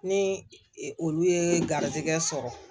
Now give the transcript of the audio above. Ni olu ye garizigɛ sɔrɔ